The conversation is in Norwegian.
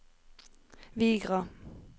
Vigra